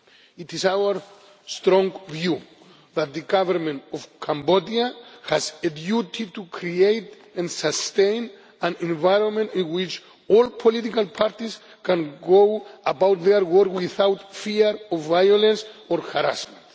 It is our strong view that the Government of Cambodia has a duty to create and sustain an environment in which all political parties can go about their work without fear of violence or harassment.